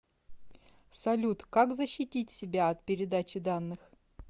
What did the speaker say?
салют как защитить себя от передачи данных